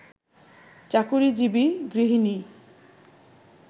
চাকুরিজীবী, গৃহিণী